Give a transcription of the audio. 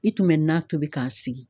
I tun be nan tobi ka sigi.